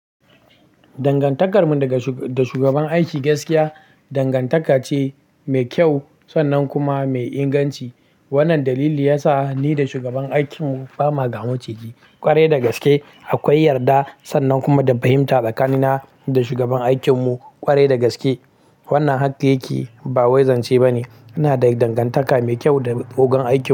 Dangantakar mu da shugaban aiki gaskiya dangantaka ce mai kyau sannan kuma mai inganci. Wannan dalili yasa ni da shugaban aikin mu ba ma gamaciji kwarai da gaske. Akwai yarda sannan kuma da fahimta tsakanina da shugaban aikin mu ƙwarai da gaske. Wannan haka yake ba wai zance ba ne. Ina da dangantaka mai kyau da ogon aikin mu.